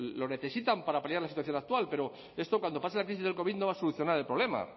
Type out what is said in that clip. lo necesitan para paliar la situación actual pero esto cuando pase la crisis del covid no va a solucionar el problema